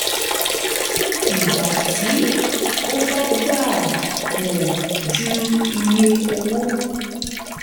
ìgbà tí ó bá gbà um ju iye owó